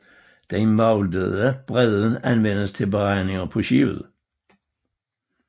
Den mouldede bredde anvendes til beregninger på skibet